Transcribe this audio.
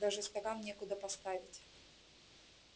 даже стакан некуда поставить